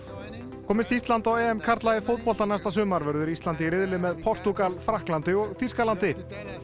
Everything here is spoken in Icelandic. komist Ísland á karla í fótbolta næsta sumar verður Ísland í riðli með Portúgal Frakklandi og Þýskalandi liverpool